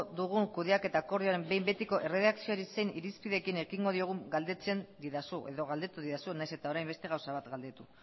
dugun kudeaketa akordioaren behin betiko erredakzioari zein irizpideekin ekingo diogun galdetzen didazu edo galdetu didazu nahiz eta orain beste gauza bat galdetu